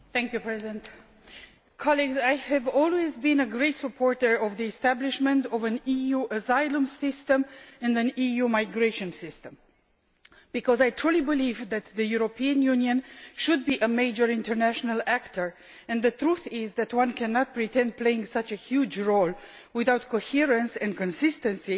Mr President, colleagues, I have always been a great supporter of the establishment of an EU asylum system and an EU migration system, because I truly believe that the European Union should be a major international actor, and the truth is that one cannot hope to play such a huge role without coherence and consistency